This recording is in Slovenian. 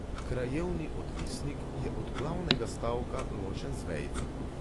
Krajevni odvisnik je od glavnega stavka ločen z vejico.